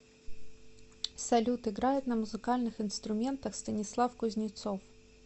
салют играет на музыкальных инструментах станислав кузнецов